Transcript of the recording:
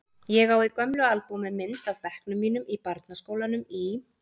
Ég á í gömlu albúmi mynd af bekknum mínum í barnaskólanum í